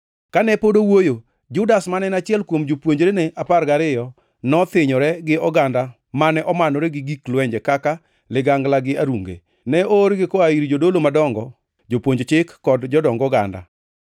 Kane pod owuoyo, Judas, mane en achiel kuom jopuonjrene apar gariyo nothinyore gi oganda mane omanore gi gik lwenje kaka ligangla gi arunge. Ne oorgi koa ir Jodolo madongo, jopuonj chik kod jodong oganda.